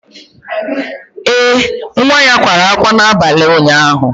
Ee, nwa ya kwara ákwá n'abalị ụnyaahụ